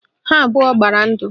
Ha abụọ gbara ndụ